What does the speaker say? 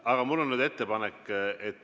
Aga mul on nüüd ettepanek.